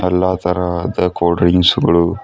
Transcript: ಎಲ್ಲಾ ತರಹದ cold drinks ಗಳು--